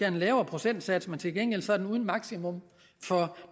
en lavere procentsats men til gengæld er det uden maksimum for